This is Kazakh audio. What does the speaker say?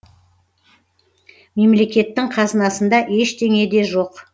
мемлекеттің қазынасында ештеңе де жоқ